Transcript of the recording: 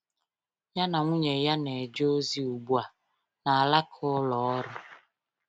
Ya na nwunye ya na-eje ozi ugbu a n’alaka ụlọ ọrụ